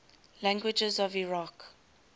languages of iraq